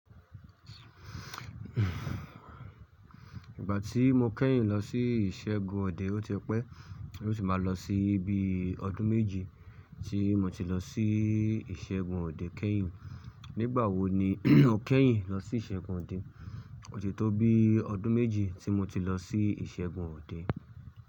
Ìgbà tí mo kẹ́yìn lọ sí ìṣẹ́gun ọ̀dẹ, ó ti pẹ́. Ó ti máa lọ sí ibi ọdún méjì tí mo ti lọ sí ìṣẹ́gun ọ̀dẹ kẹ́yìn. Nígbà wo ni o kẹ́yìn lọ sí ìṣẹ́gun ọ̀dẹ? Ọ̀tí tó bí ọdún méjì tí mo ti lọ sí ìṣẹ́gun ọ̀dẹ.